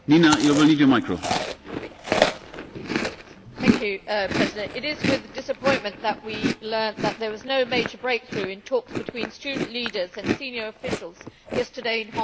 Mr President, it is with disappointment that we learnt that there was no major breakthrough in talks between student leaders and senior officials yesterday in Hong Kong.